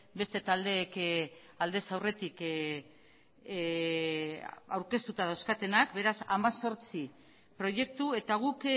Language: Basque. beste taldeek aldez aurretik aurkeztuta dauzkatenak beraz hemezortzi proiektu eta guk